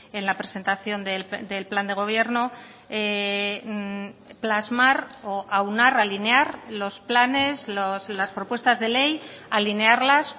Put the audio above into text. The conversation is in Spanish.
en la presentación del plan de gobierno plasmar o aunar alinear los planes las propuestas de ley alinearlas